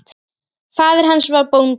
Faðir hans var bóndi.